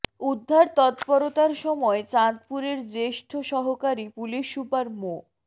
উদ্ধার তৎপরতার সময় চাঁদপুরের জ্যেষ্ঠ সহকারী পুলিশ সুপার মো